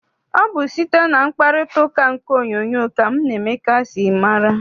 Ọ bụ site na mkparitauka nke onyoonyo ka mụ na Emeka si mata.